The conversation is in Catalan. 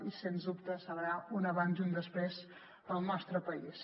i sens dubte serà un abans i un després per al nostre país